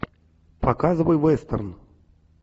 показывай вестерн